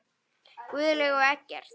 Guðlaug og Eggert.